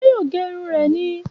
Ṣé yóò gé irun rẹ ni